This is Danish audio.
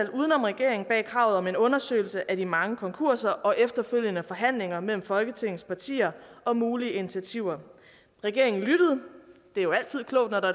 regeringen bag kravet om en undersøgelse af de mange konkurser og efterfølgende forhandlinger mellem folketingets partier om mulige initiativer regeringen lyttede det er jo altid klogt når der